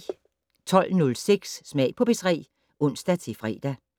12:06: Smag på P3 (ons-fre)